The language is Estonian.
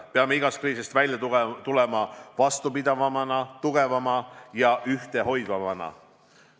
Peame igast kriisist välja tulema vastupidavama, tugevama ja ühtehoidvamana.